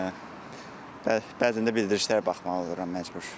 Bəzən də bildirişlər baxmalı oluram məcbur.